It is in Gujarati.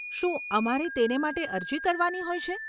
શું અમારે તેને માટે અરજી કરવાની હોય છે?